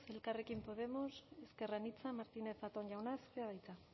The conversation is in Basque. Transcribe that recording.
elkarrekin podemos ezker anitza martínez zatón jauna zurea da hitza